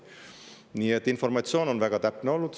Nii et informatsioon on väga täpne olnud.